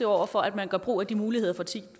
over for at man gør brug af de muligheder